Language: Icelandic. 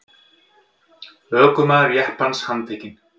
Ökumaður jeppans handtekinn